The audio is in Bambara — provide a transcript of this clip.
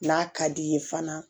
N'a ka d'i ye fana